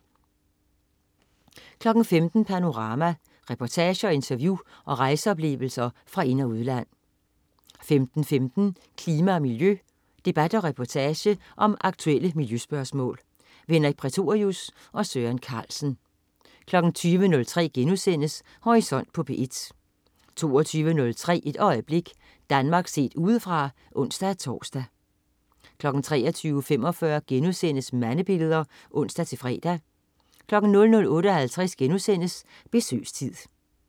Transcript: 15.00 Panorama. Reportager, interview og rejseoplevelser fra ind- og udland 15.15 Klima og miljø. Debat og reportage om aktuelle miljøspørgsmål. Henrik Prætorius og Søren Carlsen 20.03 Horisont på P1* 22.03 Et øjeblik. Danmark set udefra (ons-tors) 23.45 Mandebilleder* (ons-fre) 00.58 Besøgstid*